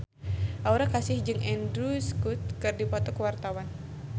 Aura Kasih jeung Andrew Scott keur dipoto ku wartawan